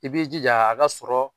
I b'i jija a ka sɔrɔ